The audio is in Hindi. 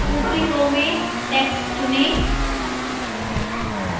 ऊपरी row में text चुनें